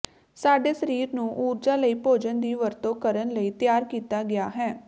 ਸਾਡੇ ਸਰੀਰ ਨੂੰ ਊਰਜਾ ਲਈ ਭੋਜਨ ਦੀ ਵਰਤੋਂ ਕਰਨ ਲਈ ਤਿਆਰ ਕੀਤਾ ਗਿਆ ਹੈ